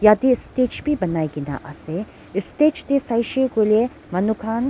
tate stage b banai kena ase stage te saishe koile manu khan.